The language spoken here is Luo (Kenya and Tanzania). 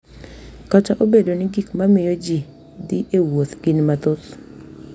Kata obedo ni gik ma miyo ji dhi e wuoth gin mathoth, .